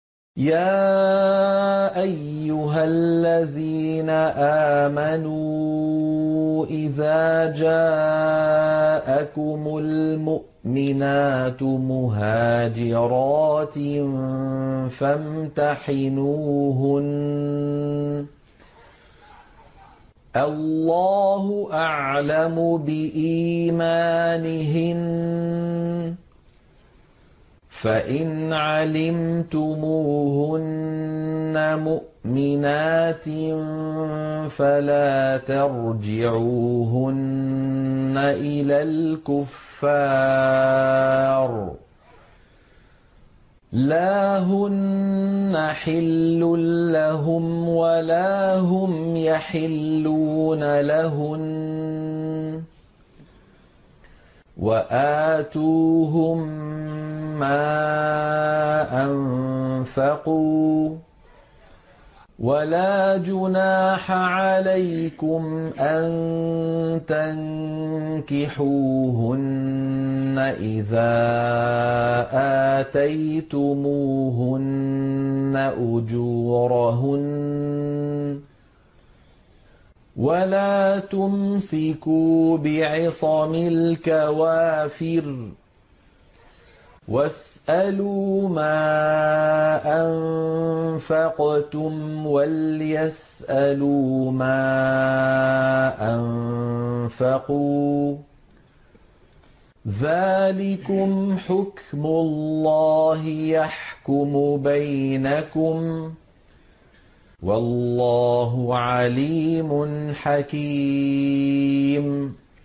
يَا أَيُّهَا الَّذِينَ آمَنُوا إِذَا جَاءَكُمُ الْمُؤْمِنَاتُ مُهَاجِرَاتٍ فَامْتَحِنُوهُنَّ ۖ اللَّهُ أَعْلَمُ بِإِيمَانِهِنَّ ۖ فَإِنْ عَلِمْتُمُوهُنَّ مُؤْمِنَاتٍ فَلَا تَرْجِعُوهُنَّ إِلَى الْكُفَّارِ ۖ لَا هُنَّ حِلٌّ لَّهُمْ وَلَا هُمْ يَحِلُّونَ لَهُنَّ ۖ وَآتُوهُم مَّا أَنفَقُوا ۚ وَلَا جُنَاحَ عَلَيْكُمْ أَن تَنكِحُوهُنَّ إِذَا آتَيْتُمُوهُنَّ أُجُورَهُنَّ ۚ وَلَا تُمْسِكُوا بِعِصَمِ الْكَوَافِرِ وَاسْأَلُوا مَا أَنفَقْتُمْ وَلْيَسْأَلُوا مَا أَنفَقُوا ۚ ذَٰلِكُمْ حُكْمُ اللَّهِ ۖ يَحْكُمُ بَيْنَكُمْ ۚ وَاللَّهُ عَلِيمٌ حَكِيمٌ